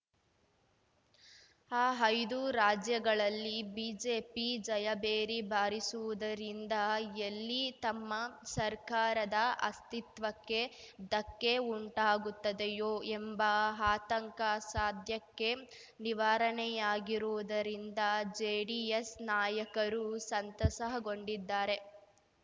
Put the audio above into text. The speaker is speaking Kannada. ಆ ಐದು ರಾಜ್ಯಗಳಲ್ಲಿ ಬಿಜೆಪಿ ಜಯಭೇರಿ ಬಾರಿಸುವುದರಿಂದ ಎಲ್ಲಿ ತಮ್ಮ ಸರ್ಕಾರದ ಅಸ್ತಿತ್ವಕ್ಕೆ ಧಕ್ಕೆ ಉಂಟಾಗುತ್ತದೆಯೋ ಎಂಬ ಆತಂಕ ಸದ್ಯಕ್ಕೆ ನಿವಾರಣೆಯಾಗಿರುವುದರಿಂದ ಜೆಡಿಎಸ್‌ ನಾಯಕರು ಸಂತಸಹಗೊಂಡಿದ್ದಾರೆ